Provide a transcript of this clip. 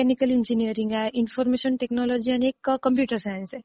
Mechanical engineering आहे, information technology आणि एक कॉम्प्युटर सायन्स आहे.